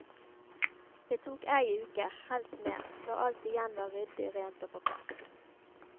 Det tok ei uke, helst mer, før alt igjen var ryddig, rent og på plass.